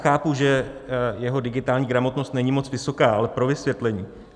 Chápu, že jeho digitální gramotnost není moc vysoká, ale pro vysvětlení.